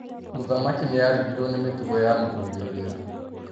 Mũthamaki nĩarigirwo nĩ mĩtugo ya Mũthuri ũrĩa.